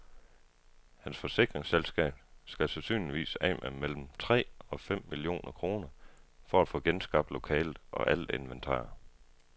Hans forsikringsselskab skal sandsynligvis af med mellem tre og fem millioner kroner for at få genskabt lokalet og alt inventar.